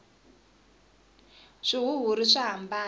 swihuhiri swa hambana